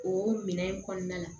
O minɛn in kɔnɔna la